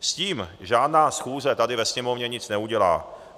S tím žádná schůze tady ve Sněmovně nic neudělá.